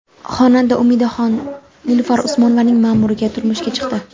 Xonanda Umidaxon Nilufar Usmonovaning ma’muriga turmushga chiqdi .